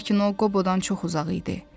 Lakin o Qobodan çox uzaq idi.